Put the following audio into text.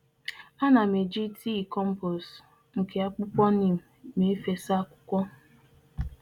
Ana m eji mmiri e sipụtara n'ahihia neem eme mmịrị nri akwụkwọ ihe ubi.